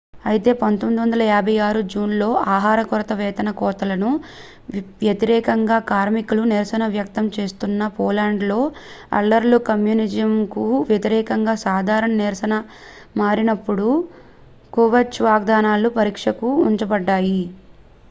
అయితే 1956 జూన్ లో ఆహార కొరత వేతన కోతలకు వ్యతిరేకంగా కార్మికులు నిరసన వ్యక్తం చేస్తున్న పోలాండ్ లో అల్లర్లు కమ్యూనిజంకు వ్యతిరేకంగా సాధారణ నిరసనగా మారినప్పుడు క్రుష్చెవ్ వాగ్దానాలు పరీక్షకు ఉంచబడ్డాయి